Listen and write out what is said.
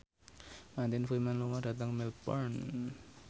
Martin Freeman lunga dhateng Melbourne